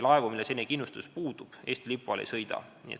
Laevu, millel kindlustus puudub, Eesti lipu all ei sõida.